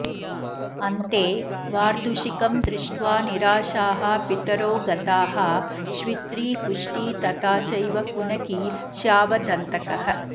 अन्ते वार्धुषिकं दृष्ट्वा निराशाः पितरो गताः श्वित्री कुष्ठी तथा चैव कुनखी श्यावदन्तकः